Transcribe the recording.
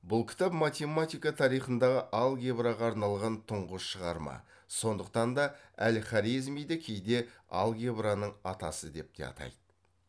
бұл кітап математика тарихындағы алгебраға арналған тұңғыш шығарма сондықтан да әл хорезмиді кейде алгебраның атасы деп те атайды